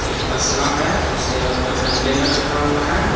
एक तसला है उसके ऊपर कंटेनर रखा हुआ है।